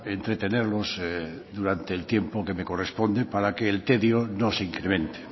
entretenerlos durante el tiempo que me corresponde para que el tedio no se incremente